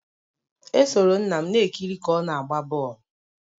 Esoro nna m na-ekiri ka ọ na-agba bọl